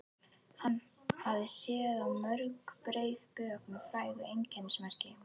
Hann hafði séð á mörg breið bök með frægu einkennismerki.